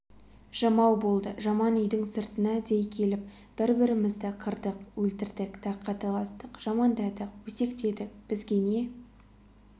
жамау болды жаман үйдің сыртына дей келіп бір-бірімізді қырдық өлтірдік таққа таластық жамандадық өсектедік бізге не